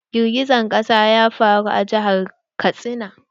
Girgijen ƙasa ya faru a jihar Katsina.